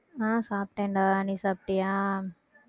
ஆஹ் சாப்பிட்டேன்டா நீ சாப்பிட்டியா